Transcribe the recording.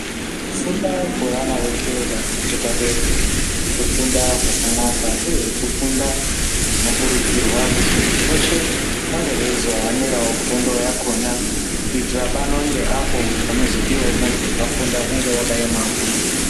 Kufunda kweana eshe varinge padera kufunda kwakanaka uye kufunda kunokurudzirwa kuti muntu veshe anga eizohaniravo fundo yakona kuitira pano ngeapo panozodivavo muntu vakafunda unge wakaema wo.